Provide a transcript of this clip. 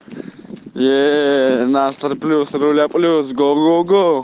её настрой плюс руля плюс го го го